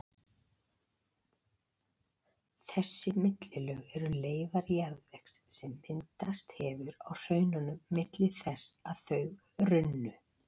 Þessi millilög eru leifar jarðvegs sem myndast hefur á hraununum milli þess að þau runnu.